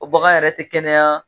O bagan yɛrɛ ti kɛnɛya